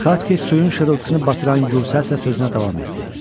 Xatxi suyun şırıltısını batıran gür səslə sözünə davam etdi.